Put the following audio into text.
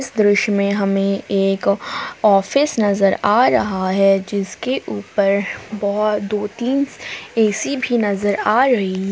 दृश्य में हमे एक ऑफिस नजर आ रहा है जिसके उपर बहुत दो तीन ऐ_सी भी नजर आ रही--